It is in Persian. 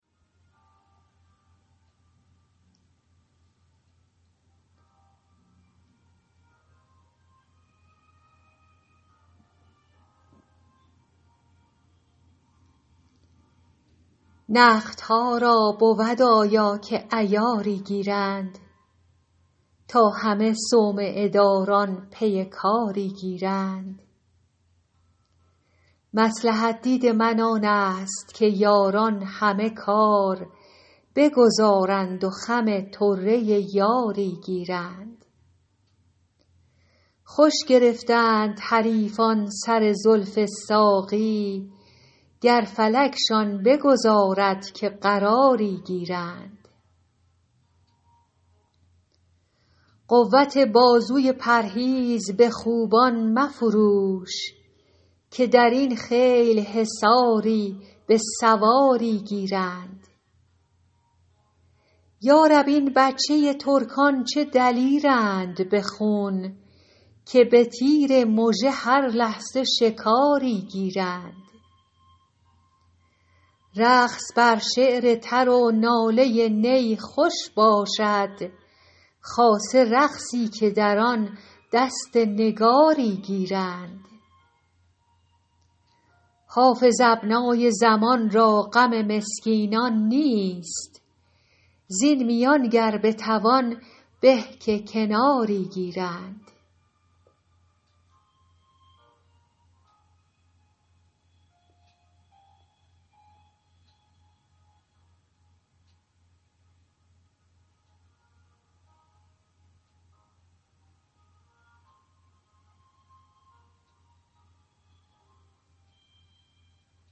نقدها را بود آیا که عیاری گیرند تا همه صومعه داران پی کاری گیرند مصلحت دید من آن است که یاران همه کار بگذارند و خم طره یاری گیرند خوش گرفتند حریفان سر زلف ساقی گر فلکشان بگذارد که قراری گیرند قوت بازوی پرهیز به خوبان مفروش که در این خیل حصاری به سواری گیرند یا رب این بچه ترکان چه دلیرند به خون که به تیر مژه هر لحظه شکاری گیرند رقص بر شعر تر و ناله نی خوش باشد خاصه رقصی که در آن دست نگاری گیرند حافظ ابنای زمان را غم مسکینان نیست زین میان گر بتوان به که کناری گیرند